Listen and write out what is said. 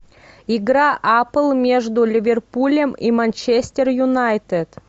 игра апл между ливерпулем и манчестер юнайтед